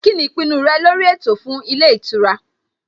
Kíni ìpinnu rẹ lórí ètò fún ilé ìtura?